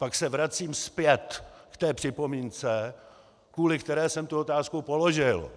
Pak se vracím zpět k té připomínce, kvůli které jsem tu otázku položil.